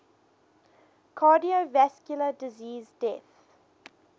cardiovascular disease deaths